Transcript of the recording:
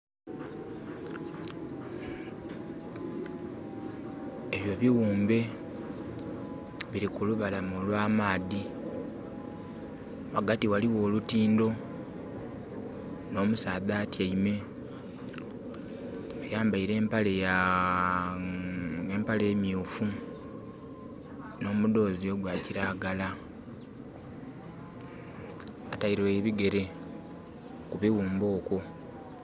Ebyo bighumbe biri kulubalama olwa maadhi, ghagati ghaligho olutindho no musaadha atyaime ayambaire empale myufu nhoudhozi ogwa kilagala ataire ebigere ku bighumbe okwo.